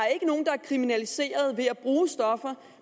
kriminaliseret ved at bruge stoffer